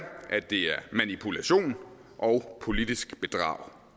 at det er manipulation og politisk bedrag